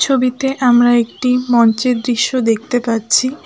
ছবিতে আমরা একটি মঞ্চের দৃশ্য দেখতে পাচ্ছি।